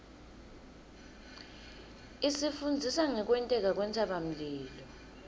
isifundzisa ngekwenteka kwentsabamlilo